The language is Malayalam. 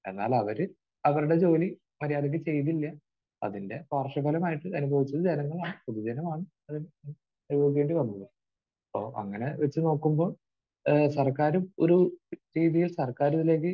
എന്നാൽ അവർ അവരുടെ ജോലി മര്യാദക്ക് ചെയ്തില്ല. അതിന്റെ പാർശ്വഫലമായിട്ട് അനുഭവിച്ചത് ജനങ്ങളുമാണ്. പൊതുജനമാണ് അത് അനുഭവിക്കേണ്ടി വന്നത്. അപ്പോൾ അങ്ങനെ വെച്ച് നോക്കുമ്പോൾ ഏഹ് സർക്കാരും ഒരു രീതിയിൽ സർക്കാർ ഇതിലേക്ക്